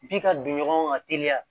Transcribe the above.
F'i ka don ɲɔgɔn ka teliya